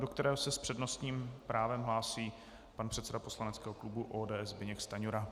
do kterého se s přednostním právem hlásí pan předseda poslaneckého klubu ODS Zbyněk Stanjura.